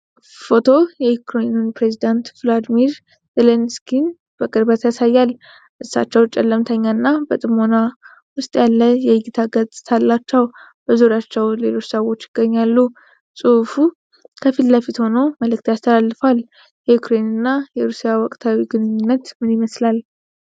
ፎቶው የዩክሬኑን ፕሬዝዳንት ቮሎዲሚር ዜሌንስኪን በቅርበት ያሳያል። እሳቸው ጨለምተኛና በጥሞና ውስጥ ያለ የእይታ ገፅታ አላቸው፤ በዙሪያቸው ሌሎች ሰዎችም ይገኛሉ። ፅሁፉ ከፊት ለፊት ሆኖ መልዕክት ያስተላልፋል። የዩክሬን እና የሩሲያ ወቅታዊ ግንኙነት ምን ይመስላል?